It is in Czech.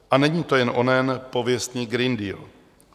A není to jen onen pověstný Green Deal.